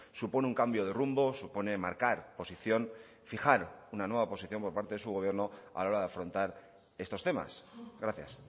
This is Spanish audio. supone un cambio de rumbo supone marcar posición fijar una nueva posición por parte de su gobierno a la hora de afrontar estos temas gracias